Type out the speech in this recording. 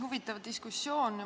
Huvitav diskussioon.